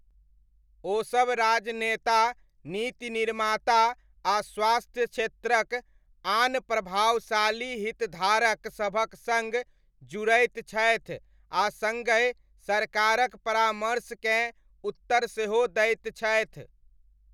ओसब राजनेता, नीति निर्माता आ स्वास्थ्य क्षेत्रक आन प्रभावशाली हितधारक सभक सङ्ग जुड़ैत छथि आ सङ्गहि सरकारक परामर्शकेँ उत्तर सेहो दैत छथि।